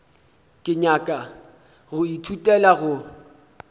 ke nyaka go ithutela go